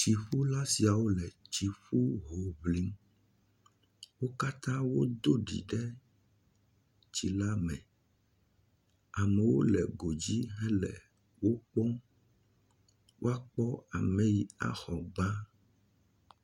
Tsiƒula siawo letsiƒu ho ŋlim. Wo katã wodo ɖi ɖe tsi la me. Amewo le godzi hele wokpɔm waokpɔ ame yi axɔ gbã.